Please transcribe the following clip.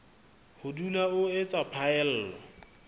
ho dula o etsa phaello